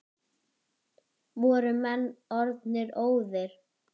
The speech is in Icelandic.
Voru menn orðnir óðir!